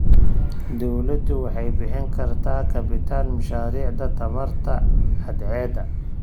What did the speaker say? Dawladdu waxay bixin kartaa kabitaan mashaariicda tamarta cadceedda.